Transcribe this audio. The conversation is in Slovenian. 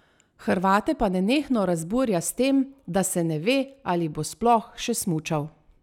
Hrvate pa nenehno razburja s tem, da se ne ve, ali bo sploh še smučal.